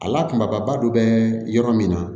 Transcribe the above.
A la kumaba dɔ bɛ yɔrɔ min na